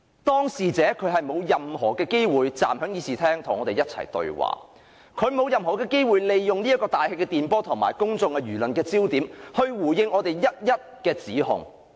當事者沒有任何機會站在會議廳與我們對話，亦沒有任何機會利用大氣電波及公眾輿論來回應我們的各項指控。